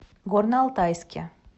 горно алтайске